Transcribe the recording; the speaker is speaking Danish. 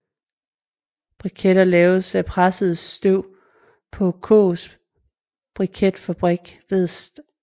Briketter laves af presset tørv på Kaas briketfabrik ved St